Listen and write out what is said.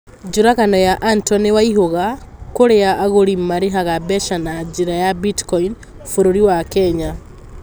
Njũragano ya antony waihuga kũrĩa agũrĩ marĩhaga mbeca na njĩra ya bitcoin bũrũri wa kenya